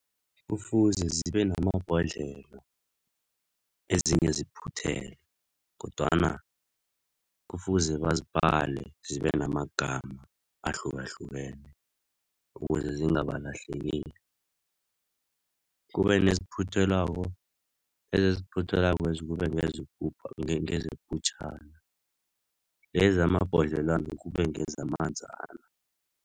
Kufuze zibe namabhodlelo, ezinye ziphuthelwe kodwana kufuze bazibhale zibenamagama ahlukahlukene ukuze zingabalahlekeli. Kube neziphuthelwako lezi eziphuthelwakwezi kube ngezeputjhana lezi zamabhodlelwana kube ngezamanzana.